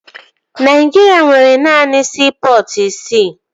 Naịjirịa nwere naanị siipọtụ isii